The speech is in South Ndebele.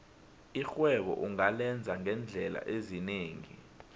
irhwebo ungalenza ngeendlela ezinengi